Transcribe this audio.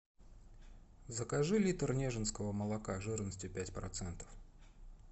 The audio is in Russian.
закажи литр нежинского молока жирностью пять процентов